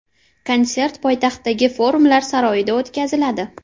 Konsert poytaxtdagi Forumlar saroyida o‘tkaziladi.